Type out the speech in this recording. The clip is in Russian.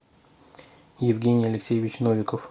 евгений алексеевич новиков